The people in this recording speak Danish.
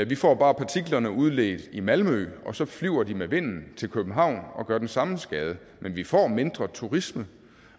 vi får bare partiklerne udledt i malmø og så flyver de med vinden til københavn og gør den samme skade men vi får mindre turisme